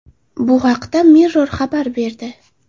Bu haqda Mirror xabar berdi .